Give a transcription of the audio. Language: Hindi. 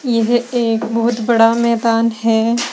यह एक बहोत बड़ा मैदान है।